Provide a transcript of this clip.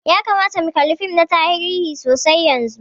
Ya kamata mu kalla fim na tarihi sosai yanzun.